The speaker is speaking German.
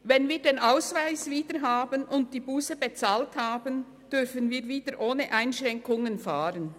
Wenn wir den Ausweis wieder haben und die Busse bezahlt haben, dürfen wir wieder ohne Einschränkungen fahren.